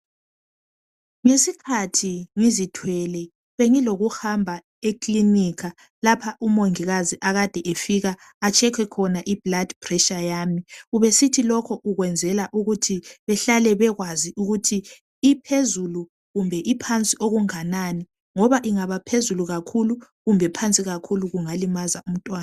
Ngesikhathi ngizithwele bengilokuhamba ekilinika lapha umongikazi akade efika achecke khona iblood pressure yami. Ubesithi lokho ukwenzela ukuthi behlale bekwazi ukuthi iphezulu kumbe iphansi okunganani ngoba ingaba phezulu kakhulu kumbe phansi kakhulu kungalimaza umntwana.